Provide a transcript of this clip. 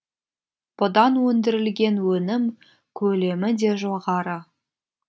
бұдан өндірілген өнім көлемі де жоғары